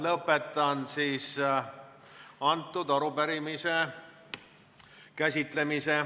Lõpetan selle arupärimise käsitlemise.